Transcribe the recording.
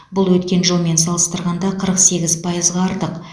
бұл өткен жылмен салыстырғанда қырық сегіз пайызға артық